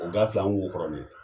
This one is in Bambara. U b'a fil'an ŋ'u fɔrɔme